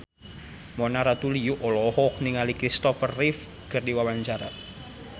Mona Ratuliu olohok ningali Christopher Reeve keur diwawancara